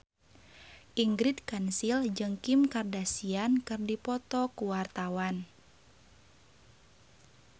Ingrid Kansil jeung Kim Kardashian keur dipoto ku wartawan